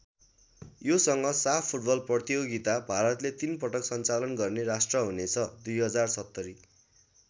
योसँग साफ फुटबल प्रतियोगिता भारतले ३ पटक सञ्चालन गर्ने राष्ट्र हुनेछ २०७०।